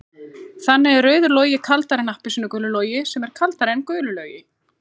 Þannig er rauður logi kaldari en appelsínugulur logi sem er kaldari en gulur logi.